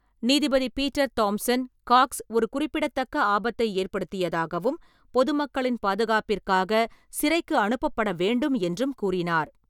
நீதிபதி Peter Thompson, Cox ஒரு குறிப்பிடத்தக்க ஆபத்தை ஏற்படுத்தியதாகவும், பொதுமக்களின் பாதுகாப்பிற்காக சிறைக்கு அனுப்பப்பட வேண்டும் என்றும் கூறினார்.